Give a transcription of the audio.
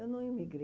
Eu não emigrei.